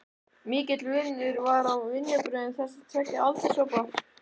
Mikill munur var á vinnubrögðum þessara tveggja aldurshópa.